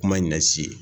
Kuma in ɲɛ si ye